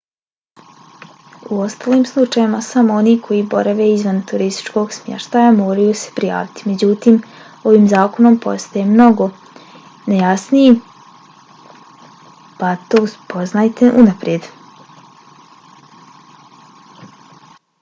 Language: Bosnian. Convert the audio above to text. u ostalim slučajevima samo oni koji borave izvan turističkog smještaja moraju se prijaviti. međutim ovim zakon postaje mnogo nejasniji pa to saznajte unaprijed